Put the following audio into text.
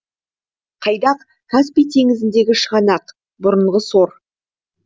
қайдақ каспий теңізіндегі шығанақ бұрынғы сор